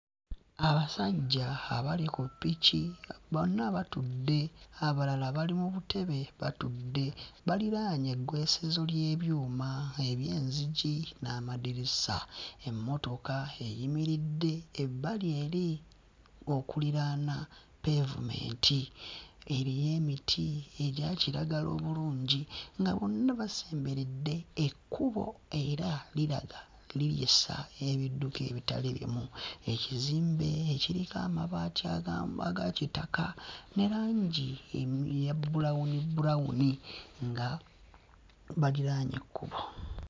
Abasajja abali ku ppiki a bonna batudde abalala bali mu butebe batudde baliraanye eggwesezo ly'ebyuma eby'enzigi n'amadirisa. Emmotoka eyimiridde ebbali eri okuliraana pavement, eriyo emiti egya kiragala obulungi nga bonna basemberedde ekkubo era liraga nti liyisa ebidduka ebitali bimu. Ekizimbe ekiriko amabaati aga aga kitaka ne langi eya bbulawuni bbulawuni nga baliraanye ekkubo.